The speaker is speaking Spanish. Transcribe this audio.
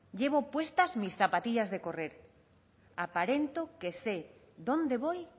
llevo puestas mis zapatillas de correr aparento que sé dónde voy